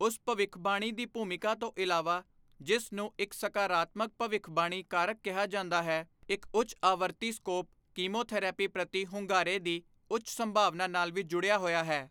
ਉਸ ਭਵਿੱਖਬਾਣੀ ਦੀ ਭੂਮਿਕਾ ਤੋਂ ਇਲਾਵਾ, ਜਿਸ ਨੂੰ ਇੱਕ ਸਕਾਰਾਤਮਕ ਭਵਿੱਖਬਾਣੀ ਕਾਰਕ ਕਿਹਾ ਜਾਂਦਾ ਹੈ, ਇੱਕ ਉੱਚ ਆਵਰਤੀ ਸਕੋਰ ਕੀਮੋਥੈਰੇਪੀ ਪ੍ਰਤੀ ਹੁੰਗਾਰੇ ਦੀ ਉੱਚ ਸੰਭਾਵਨਾ ਨਾਲ ਵੀ ਜੁੜਿਆ ਹੋਇਆ ਹੈ।